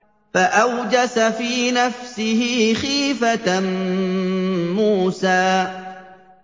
فَأَوْجَسَ فِي نَفْسِهِ خِيفَةً مُّوسَىٰ